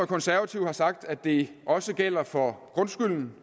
konservative har sagt at det også gælder for grundskylden